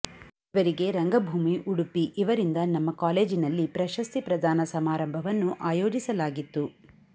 ಇವರಿಗೆ ರಂಗಭೂಮಿ ಉಡುಪಿ ಇವರಿಂದ ನಮ್ಮ ಕಾಲೇಜಿನಲ್ಲಿ ಪ್ರಶಸ್ತಿ ಪ್ರದಾನ ಸಮಾರಂಭವನ್ನು ಆಯೋಜಿಸಲಾಗಿತ್ತು